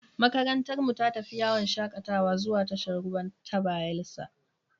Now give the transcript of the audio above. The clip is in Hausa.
Makarantarmu ta tafi yawon shakatawa zuwa tashar ruwa ta Bayelsa.